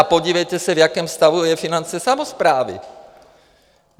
A podívejte se, v jakém stavu jsou finance samosprávy.